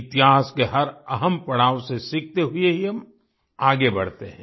इतिहास के हर अहम पड़ाव से सीखते हुए ही हम आगे बढ़ते हैं